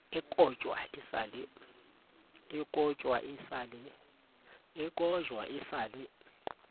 e kojwa e sa le